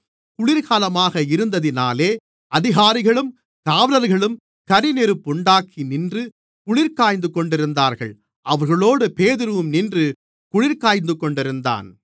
குளிர்காலமாக இருந்ததினாலே அதிகாரிகளும் காவலர்களும் கரிநெருப்புண்டாக்கி நின்று குளிர்காய்ந்துகொண்டிருந்தார்கள் அவர்களோடு பேதுருவும் நின்று குளிர்காய்ந்துகொண்டிருந்தான்